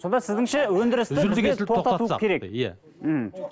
сонда сіздіңше өндірісті